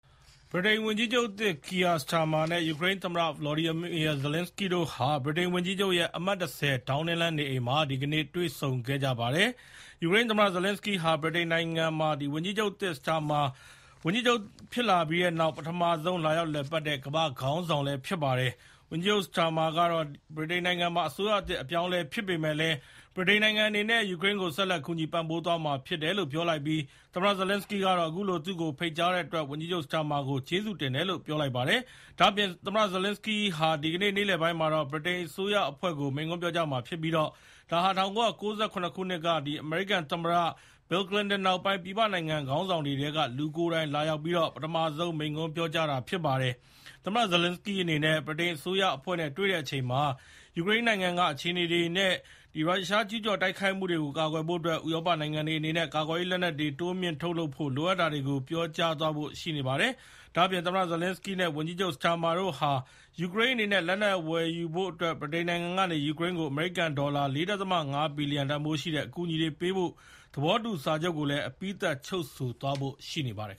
ဗြိတိန်ဝန်ကြီးချုပ် ကီယာ စတာမာ (Keir Starmer) နဲ့ ယူကရိန်းသမ္မတ ဗလော်ဒိုမာ ဇလင်စကီး (Volodymyrr Zelenskyy) တို့ ဟာ ဗြိတိန်နိုင်ငံ လန်ဒန်မြို့က ဝန်ကြီးချုပ်ရဲ့ နေအိမ် အမှတ် ၁၀ ဒေါင်းနင်းလမ်းမှာ တွေ့ဆုံခဲ့ကြပါတယ်။ ယူကရိန်းသမ္မတ ဇလင်စကီးဟာ ဗြိတိန်နိုင်ငံမှာ ဝန်ကြီးချုပ်သစ် Starmer ဝန်ကြီးချုပ်ဖြစ်လာပြီးနောက် ပထမဆုံးလာရောက်လည်ပတ်တဲ့ ကမ္ဘာ့ခေါင်းဆောင်ဖြစ်ပါတယ်။ ဝန်ကြီးချုပ်စတာမာကတော့ ဗြိတိန်နိုင်ငံမှာ အစိုးရသစ်အပြောင်းအလဲဖြစ်ပေမယ့်လည်း ဗြိတိန်နိုင်ငံအနေနဲ့ ယူကရိန်းကို ဆက်လက် ကူညီပံ့ပိုးသွားမှာဖြစ်တယ်လို့ ပြောလိုက်ပြီး၊ သမ္မတဇလင်စကီးကတော့ အခုလို သူ့ကို ဖိတ်တဲ့အတွက် ဝန်ကြီးချုပ်စတာမာကို ကျေးဇူးတင်တယ်လို့ပြောလိုက်ပါတယ်။ ဒါ့အပြင် သမ္မတဇလင်စကီးဟာ ဒီနေ့ နေ့လည်ပိုင်းမှာတော့ ဗြိတိန်အစိုးရအဖွဲ့ကို မိန့်ခွန်းပြောကြားမှာဖြစ်ပြီး၊ ဒါဟာ ၁၉၉၇ ခုနှစ်က အမေရိကန်သမ္မတ Bill Clinton နောက်ပိုင်း ပြည်ပနိုင်ငံခေါင်းဆောင်တွေထဲက လူကိုယ်တိုင်လာရောက်ပြီးတော့ ပထမဆုံးမိန့်ခွန်းပြောကြားတာဖြစ်ပါတယ်။ သမ္မတဇလင်စကီးအနေနဲ့ ဗြိတိန်အစိုးရအဖွဲ့နဲ့ တွေ့တဲ့အချိန်မှာ ယူကရိန်းနိုင်ငံက အခြေအနေတွေနဲ့ ရုရှားရဲ့ကျူးကျော်တိုက်ခိုက်မှုတွေကို ကာကွယ်နိုင်ဖို့အတွက် ဥရောပနိုင်ငံတွေအနေနဲ့ ကာကွယ်ရေးလက်နက်တွေကို တိုးမြှင့်ထုတ်လုပ်ဖို့ လိုအပ်တာတွေကို ပြောကြားသွားဖို့ရှိနေပါတယ်။ ဒါ့အပြင် သမ္မတဇလင်စကီးနဲ့ ဝန်ကြီးချုပ်စတာမာတို့ဟာ ယူကရိန်းအနေနဲ့ လက်နက်ဝယ်ယူဖို့အတွက် ဗြိတိန်နိုင်ငံကနေ ယူကရိန်းကို အမေရိကန်ဒေါ်လာ ၄.၅ ဘီလျံတန်ဖိုးရှိတဲ့ အကူအညီတွေပေးဖို့ သဘောတူစာချုပ်ကိုလည်း အပြီးသတ် ချုပ်ဆိုသွားဖို့လည်း ရှိနေပါတယ်